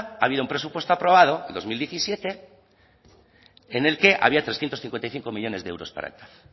ha habido un presupuesto aprobado el dos mil diecisiete en el que había trescientos cincuenta y cinco millónes de euros para el tav